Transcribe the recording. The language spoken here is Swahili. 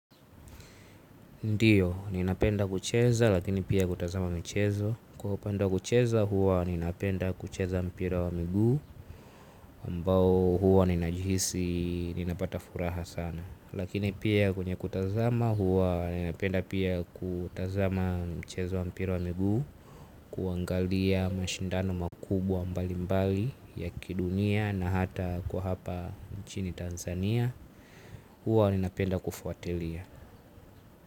Ndiyo ninapenda kucheza lakini pia kutazama michezo kwa upande wa kucheza huwa ninapenda kucheza mpira wa miguu ambao huwa ninajihisi ninapata furaha sana lakini pia kwenye kutazama huwa ninapenda pia kutazama mchezo wa mpira wa miguu. Kuangalia mashindano makubwa mbalimbali ya kidunia na hata kwa hapa nchini Tanzania huwa ninapenda kufuatilia.